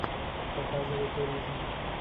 показывай туризм